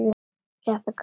Þetta kom svo óvænt.